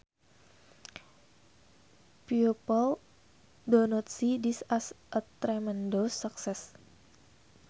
People do not see this as a tremendous success